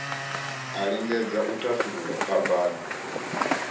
a lingedze u thasulula phambano